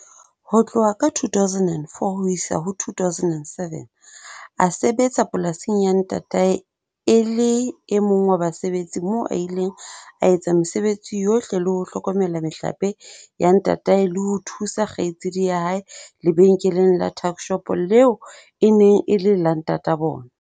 Ho tloha ka 2004 ho isa ho 2007 a sebetsa polasing ya ntatae e le e mong wa basebetsi moo a ileng a etsa mesebetsi yohle le ho hlokomela mehlape ya ntatae le ho thusa kgaitsedi ya hae lebenkeleng la tuck-shop leo e neng e le la ntata bona.